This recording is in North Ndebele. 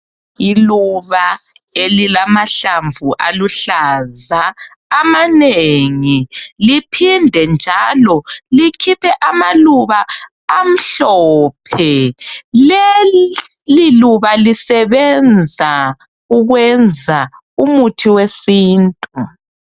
Iluba elilamahlamvu aluhlaza amanengi liphinde njalo likhiphe amaluba amhlophe. Leliluba lisebenza ukwenza umuthi wesintu .